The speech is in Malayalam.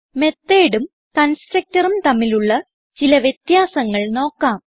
methodഉം constructorഉം തമ്മിലുള്ള ചില വ്യത്യാസങ്ങൾ നോക്കാം